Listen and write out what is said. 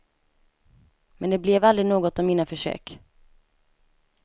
Men det blev aldrig något av mina försök.